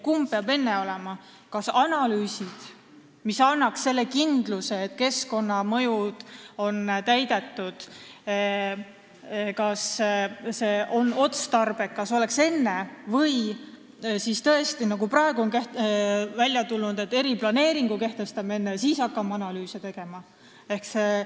Kas kõigepealt peavad olema analüüsid, mis annaksid kindluse, et keskkonnanõuded on täidetud, ja teadmise, kas asi on otstarbekas, või kehtestame tõesti enne eriplaneeringu, nagu praeguseks on välja tulnud, ja hakkame siis analüüse tegema?